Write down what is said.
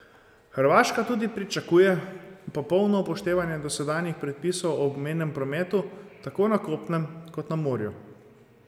Hrvaška tudi pričakuje popolno upoštevanje dosedanjih predpisov o obmejnem prometu tako na kopnem kot na morju.